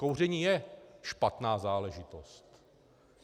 Kouření je špatná záležitost.